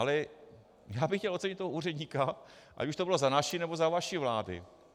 Ale já bych chtěl ocenit toho úředníka, ať už to bylo za vaší, nebo za naší vlády.